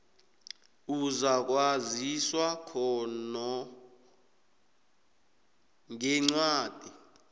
uzakwaziswa lokho ngencwadi